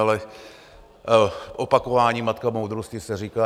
Ale "opakování matka moudrosti" se říká.